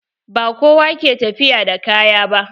Ba kowa ke tafiya da kaya ba.